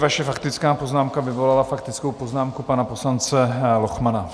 Vaše faktická poznámka vyvolala faktickou poznámku pana poslance Lochmana.